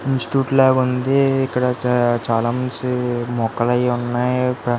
Institute లాగా ఉంది. ఇక్కడ చాలా చెట్లు మొక్కలు అవి ఉన్నాయి.